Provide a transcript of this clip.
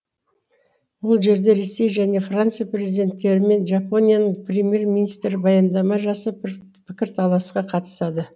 ол жерде ресей және франция президенттері мен жапонияның премьер министрі баяндама жасап пікірталасқа қатысады